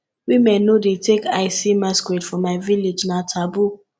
women no dey take eye see masquerade for my village na taboo